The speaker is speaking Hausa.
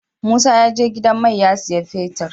Musa ya je gidan mai ya siya fetir